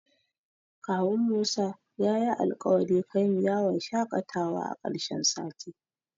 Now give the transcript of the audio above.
Kawun Musa yayi alƙawari kaini yawon shaƙatawa a ƙarshen sati.